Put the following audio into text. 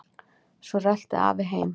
Svo rölti afi heim.